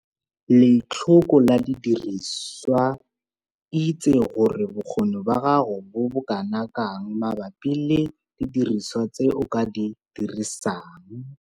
Letlhoko la didiriswa - itse gore bokgoni ba gago bo bokana kang mabapi le didiriswa tse o ka di dirisang.